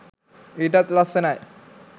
ඊටත් ලස්සනයි.